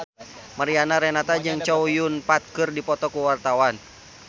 Mariana Renata jeung Chow Yun Fat keur dipoto ku wartawan